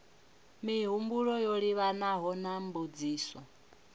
mihumbulo yo livhanaho na mbudziso